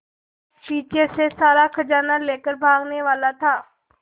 पीछे से सारा खजाना लेकर भागने वाला था